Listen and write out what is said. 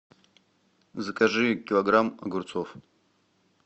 закажи килограмм огурцов